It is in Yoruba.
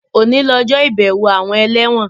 Òní lọjọ́ ìbẹ̀wo àwọn ẹlẹ́wọ̀n